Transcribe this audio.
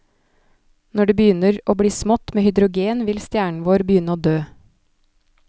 Når det begynner å bli smått med hydrogen vil stjernen vår begynne å dø.